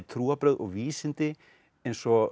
trúarbrögð og vísindi eins og